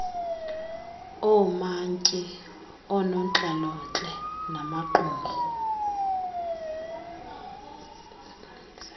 oomantyi oonontlalontle namaqumrhu